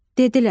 Dedilər: